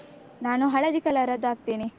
ನಾನು ಹಳದಿ color ಅದ್ದು ಹಾಕ್ತೇನೆ.